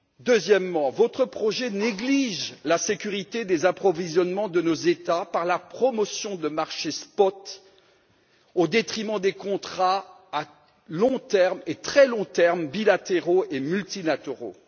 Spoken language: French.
Deuxièmement, votre projet néglige la sécurité des approvisionnements de nos États par la promotion de marchés spots au détriment des contrats à long terme et très long terme, bilatéraux et multilatéraux.